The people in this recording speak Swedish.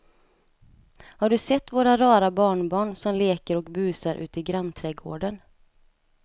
Har du sett våra rara barnbarn som leker och busar ute i grannträdgården!